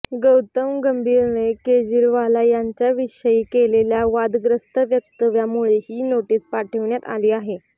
गौतम गंभीरने केजरीवाल यांच्याविषयी केलेल्या वादग्रस्त वक्तव्यामुळे ही नोटीस पाठविण्यात आली आहे